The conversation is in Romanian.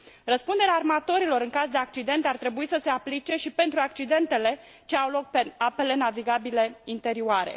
Răspunderea armatorilor în caz de accident ar trebui să se aplice și pentru accidentele ce au loc pe apele navigabile interioare.